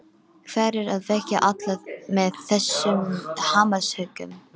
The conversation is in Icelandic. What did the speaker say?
Hver er að vekja alla með þessum hamarshöggum?